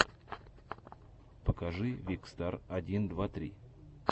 покажи викстар один два три